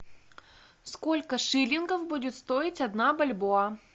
сколько шиллингов будет стоить одна бальбоа